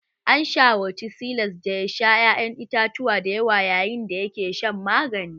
An shawarci Silas da ya sha ƴaƴan itatuwa dayawa yayin da yake shan magani